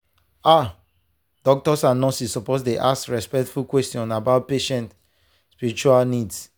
ah doctors and nurses suppose dey ask respectful questions about patient spiritual needs.